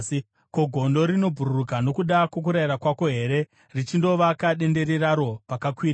Ko, gondo rinobhururuka nokuda kwokurayira kwako here richindovaka dendere raro pakakwirira?